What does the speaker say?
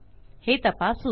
हे तपासू